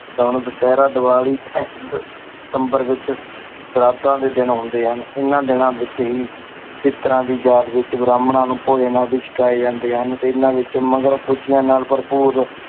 ਦੁਸਹਿਰਾ, ਦੀਵਾਲੀ ਸਤੰਬਰ ਵਿੱਚ ਸਰਾਧਾਂ ਦੇ ਦਿਨ ਹੁੰਦੇ ਹਨ ਇਹਨਾਂ ਦਿਨਾਂ ਵਿੱਚ ਹੀ ਪਿੱਤਰਾਂ ਦੀ ਯਾਦ ਵਿੱਚ ਬ੍ਰਾਹਮਣਾਂ ਨੂੰ ਭੋਜਨ ਆਦਿ ਛਕਾਏ ਜਾਂਦੇ ਹਨ ਤੇ ਇਹਨਾਂ ਵਿੱਚੋਂ ਮਗਰੋਂ ਖ਼ੁਸ਼ੀਆਂ ਨਾਲ ਭਰਪੂਰ